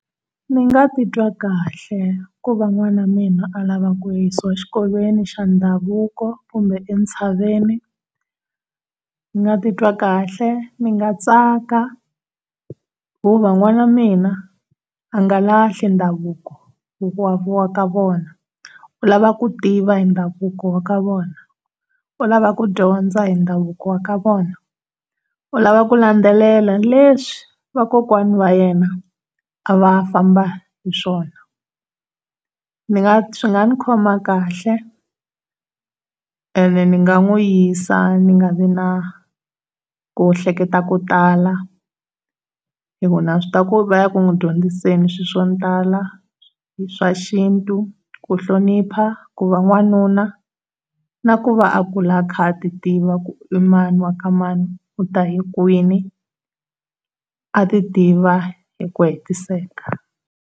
Ndzi nga titwa kahle ku va n'wana mina a lava kuya exikolweni xa ndhavuko kumbe entshaveni, ndzi nga titwa kahle, dzi nga tsaka, hikuva n'wana wa mina a nga lahli ndhavuko wa ka vona u lava ku tiva ndhavuko wa ka vona u lava ku dyondza hi ndhavuko wa ka vona, u lava ku landzelela leswi va kokwani wa yena a va famba xiswona swi nga ndzi khoma kahle, ende ni nga n'wi yisa ndzi nga ri na ku hleketa swo tala hi ku na swi tiva ku va ya n'wi dyondzisa swilo swo tala swa xintu, ku hlonipha ku va wanuna na ku va a kula a ti tiva ku hi yena mani wa ka mani u ta hikwini na ku va a ti tiva hi ku hetiseka.